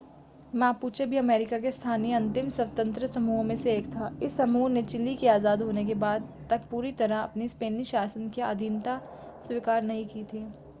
Mapuche भी America के स्थानीय अंतिम स्वतंत्र समूहों में से एक था इस समूह ने चिली के आज़ाद होने के बाद तक पूरी तरह स्पेनी शासन की आधीनता स्वीकार नहीं की थी